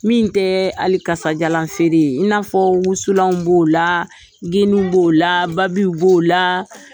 Min tɛ ali kasajalan feere ye i n'a fɔ wusulan b'o la genin b'o la babi b'o la.